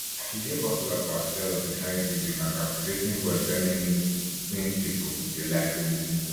she dey popular for her style of islamic music and captivating voice wey many muslim pipo dey like to lis ten to